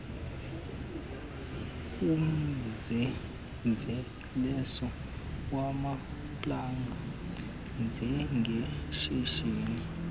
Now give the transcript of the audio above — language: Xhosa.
umzimveliso wamaplanga njengeshishini